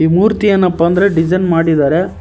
ಈ ಮೂರ್ತಿ ಏನಪ್ಪಾ ಅಂದ್ರೆ ಡಿಸೈನ್ ಮಾಡಿದರೆ.